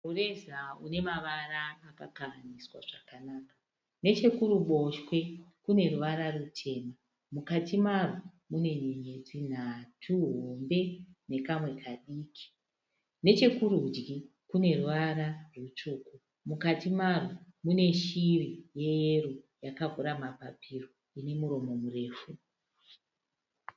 Mureza une mavara akakahaniswa zvakanaka. Nechekuruboshwe kune ruvara rutema mukati marwo mune nyenyedzi hombe nhatu nekamwe kadiki. Nekurudyi kune ruvara rutsvuku mukati marwo mune shiri yeyero yakavhura mapapiro ine muromo mufefu.